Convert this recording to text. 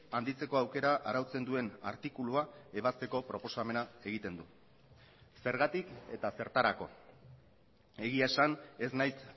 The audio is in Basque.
handitzeko aukera arautzen duen artikulua ebazteko proposamena egiten du zergatik eta zertarako egia esan ez naiz